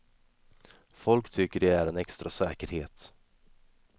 Folk tycker det är en extra säkerhet.